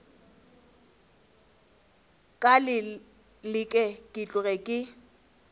ka leke ke tloge ke